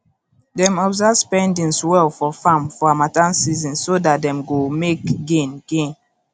dem observe spendings well for farm for harmattan season so dat dem go make gain gain